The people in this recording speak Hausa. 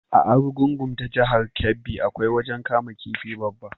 A Arugungun ta jahar Kebbi, akwai wajen kama kifi babba.